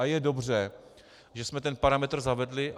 A je dobře, že jsme ten parametr zavedli.